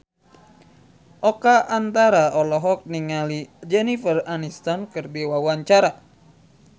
Oka Antara olohok ningali Jennifer Aniston keur diwawancara